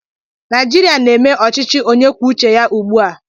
Naijiria na-eme ọchịchị onye kwuo uche ya ugbu a